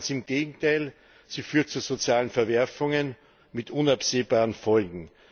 Ganz im Gegenteil, sie führt zu sozialen Verwerfungen mit unabsehbaren Folgen.